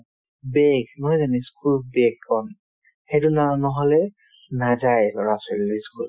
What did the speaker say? bag নহয় জানো ই school ৰ bag খন সেইটো না~ নহ'লে নাযায় ল'ৰা-ছোৱালীবিলাকে ই school